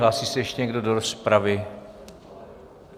Hlásí se ještě někdo do rozpravy?